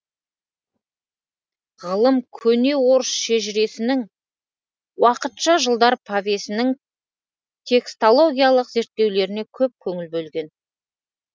ғалым көне орыс шежіресінің уақытша жылдар повесінің текстологиялық зерттеулеріне көп көңіл бөлген